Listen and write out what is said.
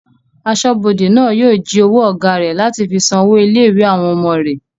Asọ́bodè náà yóò jí owó ọ̀gá rẹ̀ láti fi san owó ilé-ìwé àwọn ọmọ rẹ̀